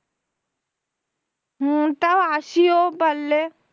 হম তাও আসিও পারলে,